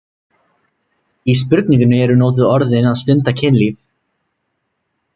Í spurningunni eru notuð orðin að stunda kynlíf